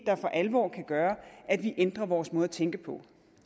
der for alvor kan gøre at vi ændrer vores måde at tænke på